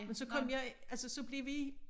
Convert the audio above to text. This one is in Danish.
Men så kom jeg altså så blev vi